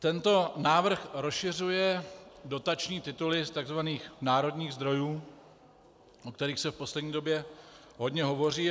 Tento návrh rozšiřuje dotační tituly z tzv. národních zdrojů, o kterých se v poslední době hodně hovoří.